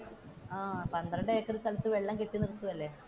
പന്ത്രണ്ടു ഏക്കർ സ്ഥലത്തു വെള്ളം കെട്ടി നിർത്തുവല്ലേ,